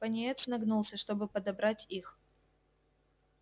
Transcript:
пониетс нагнулся чтобы подобрать их